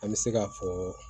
An bɛ se ka fɔ